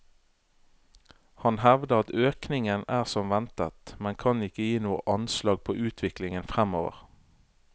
Han hevder at økningen er som ventet, men kan ikke gi noe anslag på utviklingen fremover.